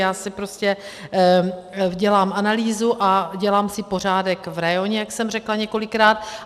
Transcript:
Já si prostě dělám analýzu a dělám si pořádek v rajoně, jak jsem řekla několikrát.